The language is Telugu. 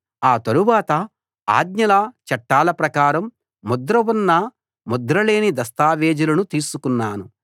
ఆ తరువాత ఆజ్ఞల చట్టాల ప్రకారం ముద్ర ఉన్న ముద్ర లేని దస్తావేజులను తీసుకున్నాను